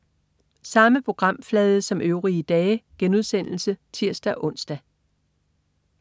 Samme programflade som øvrige dage* (tirs-ons)